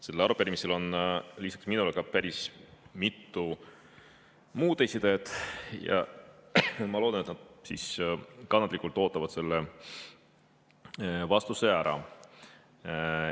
Sellel arupärimisel on lisaks minule ka päris mitu muud esitajat ja ma loodan, et nad siis kannatlikult ootavad vastuse ära.